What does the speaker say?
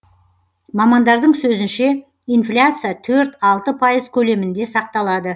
мамандардың сөзінше инфляция төрт алты пайыз көлемінде сақталады